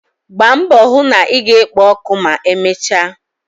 Gbaa mbọ hụ na ị ga-ekpo ọkụ ma emechaa!.